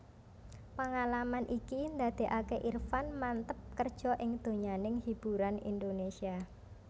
Pengalaman iki ndadékaké Irfan manteb kerja ing donyaning hiburan Indonesia